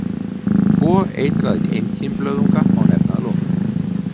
Tvo eitraða einkímblöðunga má nefna að lokum.